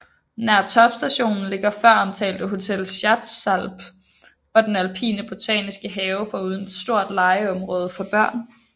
Nær topstationen ligger føromtalte Hotel Schatzalp og den alpine botaniske have foruden et stort legeområde for børn